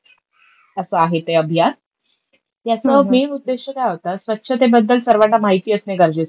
असं आहे ते अभियान. याचा मैन उद्देश्य काय होता, स्वच्छतेबद्दल सर्वाना माहिती असणं गरजेचं होतं.